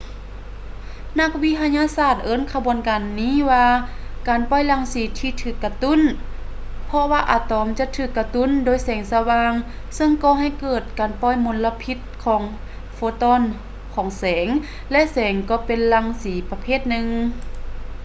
ນັກວິທະຍາສາດເອີ້ນຂະບວນການນີ້ວ່າ ການປ່ອຍລັງສີທີ່ຖືກກະຕຸ້ນ ເພາະວ່າອະຕອມຈະຖືກກະຕຸ້ນໂດຍແສງສະຫວ່າງ ເຊິ່ງກໍໃຫ້ເກີດການປ່ອຍມົນລະພິດຂອງໂຟຕອນຂອງແສງ ແລະ ແສງກໍເປັນລັງສີປະເພດໜຶ່ງ